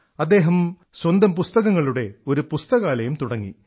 അദ്ദേഹം സ്വന്തം പുസ്തകങ്ങളുടെ ഒരു പുസ്തകാലയം തുടങ്ങി